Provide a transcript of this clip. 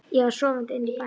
Ég var sofandi inni í bæ.